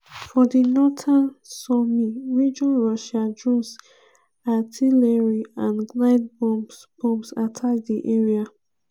for di northern sumy region russian drones artillery and glide bombs bombs attack di area.